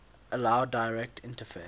allow direct interface